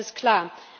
Das ist klar.